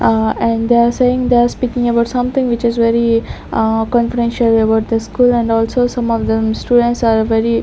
A and they are saying they are speaking about something which is very a confidential about the school and also some of them students are very--